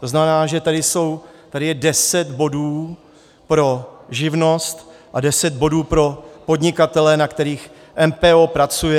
To znamená, že tady je deset bodů pro živnost a deset bodů pro podnikatele, na kterých MPO pracuje.